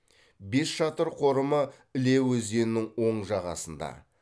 бесшатыр қорымы іле өзенінің оң жағасында